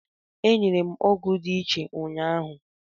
E nyere m ọgwụ dị iche ụnyaahụ.